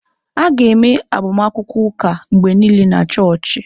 A ga-eme agbamakwụkwọ ụka mgbe niile na chọọchị.